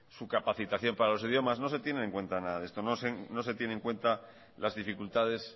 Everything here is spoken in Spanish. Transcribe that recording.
su capacitación para los idiomas no se tiene en cuenta nada de esto no se tiene en cuenta las dificultades